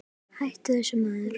Hættu þessu maður!